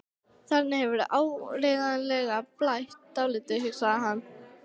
Þarna hefur áreiðanlega blætt dálítið, hugsaði hann.